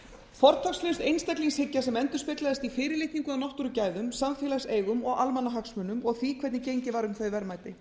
fortakslaus einstaklingshyggja sem endurspeglaðist í fyrirlitningu á náttúrugæðum samfélagseigum og almannahagsmunum og því hvernig gengið var um þau verðmæti